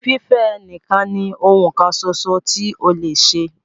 Fífẹ́ ẹ nìkan ní oun kan ṣoṣo tí o lè ṣe!